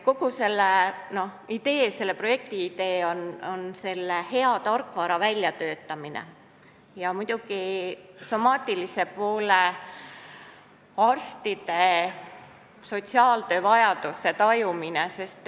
Kogu projekti idee on hea tarkvara väljatöötamine, samuti muidugi somaatilise poole arstide sotsiaaltöövajaduste tajumine.